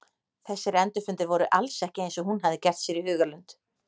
Þessir endurfundir voru alls ekki eins og hún hafði gert sér í hugarlund.